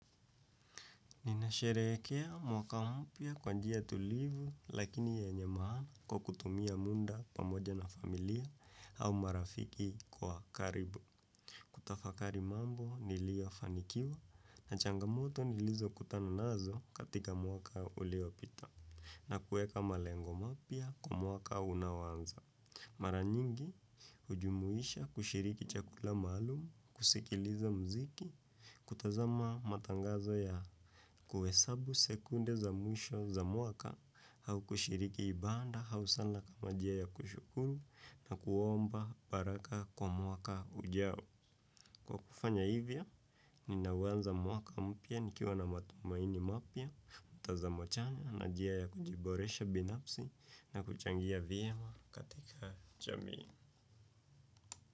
Ninasheerekea mwaka mpya kwa njia tulivu lakini yenye mahana kwa kutumia munda pamoja na familia au marafiki kwa karibu. Kutafakari mambo nilio fanikiwa na changamoto nilizo kutana nazo katika mwaka uliopita na kueka malengo mapia kwa mwaka unaoanza. Mara nyingi, ujumuisha kushiriki chakula maalum, kusikiliza mziki, kutazama matangazo ya kuesabu sekunde za mwisho za mwaka au kushiriki ibanda hau sala kama jia ya kushukuru na kuomba baraka kwa mwaka ujao. Kwa kufanya hivya, ninauanza mwaka mpya nikiwa na matumaini mapia, mtazamo chanya na jia ya kujiboresha binapsi na kuchangia vyema katika jamii.